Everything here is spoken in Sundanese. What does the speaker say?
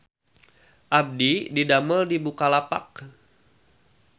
Abdi didamel di Bukalapak